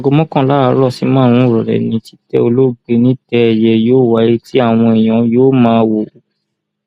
aago mọkànlá àárọ sí márùnún ìrọlẹ ni títẹ olóògbé nítẹ ẹyẹ yóò wáyé tí àwọn èèyàn yóò máa wò ó